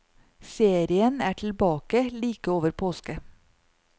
Serien er tilbake like over påske.